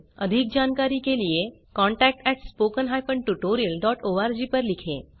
अधिक जानकारी के लिए contactspoken tutorialorg पर लिखें